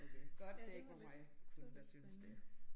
Okay godt det ikke var mig kun der syntes det